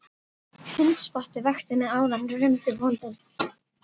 Hundspottið vakti mig áðan rumdi bóndinn.